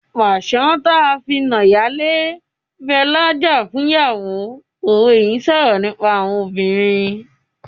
"Pàṣán tí a fi na ìyálé ń bẹ lájà fún ìyàwó " òwe yìí ń sọ̀rọ̀ nípa àwọn obìnrin.